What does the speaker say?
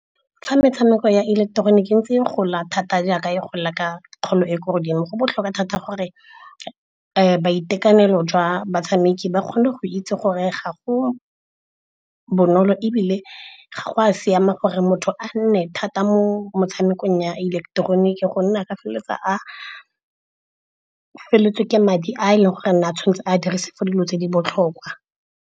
Fa metshameko ya ileketeroniki e ntse ke gola thata jaaka e gola ka kgolo e e ko godimo, go botlhokwa thata gore boitekanelo jwa batshameki ba kgone go itse gore ga go bonolo ebile ga go a siama gore motho a nne thata mo motshamekong ya ileketeroniki. Gonne ka feleletsa a feleletswe ke madi a e leng gore nna a tshwanetse a dirise for dilo tse di botlhokwa.